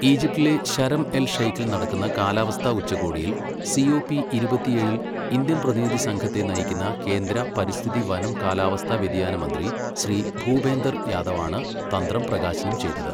ഈജിപ്തിലെ Sharm el ഷൈഖിൽ നടക്കുന്ന കാലാവസ്ഥാ ഉച്ചകോടിയിൽ സി ഓ പി ഇരുപത്തിയേഴിൽ ഇന്ത്യൻ പ്രതിനിധി സംഘത്തെ നയിക്കുന്ന കേന്ദ്ര പരിസ്ഥിതി, വനം, കാലാവസ്ഥാ വ്യതിയാന മന്ത്രി ശ്രീ ഭൂപേന്ദർ യാദവാണ് തന്ത്രം പ്രകാശനം ചെയ്തത്.